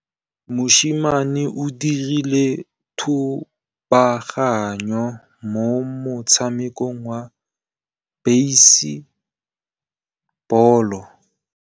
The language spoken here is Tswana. Mosimane o dirile thubaganyô mo motshamekong wa basebôlô.